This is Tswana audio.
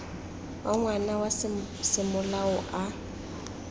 wa ngwana wa semolao a